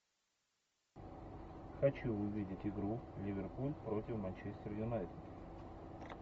хочу увидеть игру ливерпуль против манчестер юнайтед